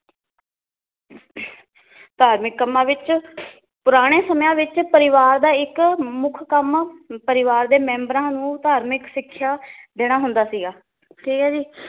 ਧਾਰਮਿਕ ਕੱਮਾਂ ਵਿੱਚ ਪੁਰਾਣੇ ਸਮਿਆਂ ਵਿਚ ਪਰਿਵਾਰ ਦਾ ਇੱਕ ਮੁੱਖ ਕੰਮ ਪਰਿਵਾਰ ਦੇ ਮੈਂਬਰਾਂ ਨੂੰ ਧਾਰਮਿਕ ਸਿੱਖਿਆ ਦੇਣਾ ਹੁੰਦਾ ਸੀਗਾ ਠੀਕ ਏ ਜੀ